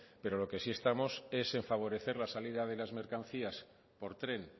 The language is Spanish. pero lo que sí estamos es en favorecer la salida de las mercancías por tren